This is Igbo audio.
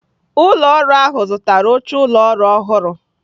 Ụlọ ọrụ ahụ zụtara oche ụlọ ọrụ ọhụrụ.